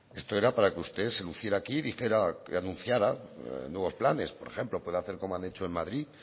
esto era para que usted se luciera aquí dijera que anunciara nuevos planes por ejemplo puede hacer como han hecho en madrid